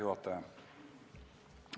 Juhataja!